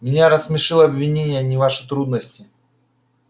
меня рассмешило обвинение а не ваши трудности